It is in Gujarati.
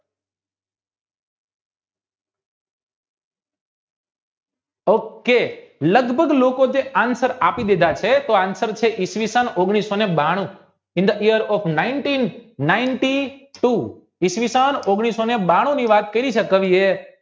ok લગભગ લોકો જે answer આપી દીધા છે તો answer છે ઈશવિસન ઓગણિસઓને બાણું ઈશવિસન ઓગણિસઓને બાણું ની વાત કવિએ